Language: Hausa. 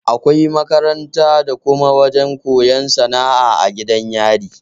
Akwai makaranta da kuma wajan koyan sana'a a gidan yari